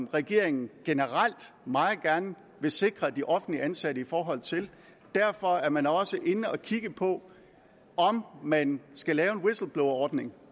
regeringen generelt meget gerne vil sikre de offentligt ansatte og derfor er man også inde og kigge på om man skal lave en whistleblowerordning